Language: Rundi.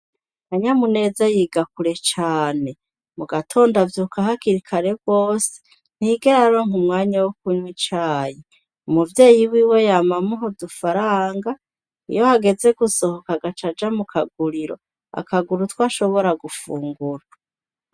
Kanyamuneza yiga kure cane, mu gatondo avyuka kare rwose, ntiyigera aronka umwanya wo kunywa icayi; umuvyeyi wiwe yama amuha udufaranga, iyo hageze gusohoka agaca aja mu kaguriro, akagura utwo ashobora gufungura.